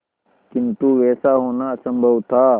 किंतु वैसा होना असंभव था